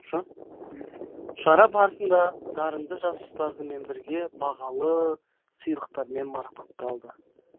шара барысында дарынды жас ұстазымен бірге бағалы сыйлықтармен марапатталды